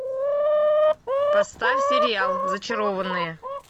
поставь сериал зачарованные